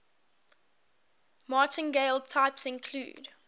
martingale types include